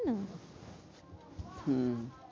হম